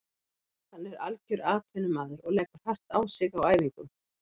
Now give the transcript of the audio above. Hann er algjör atvinnumaður og leggur hart á sig á æfingum.